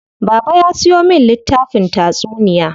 Baba ya siyo min littafin tatsuniya.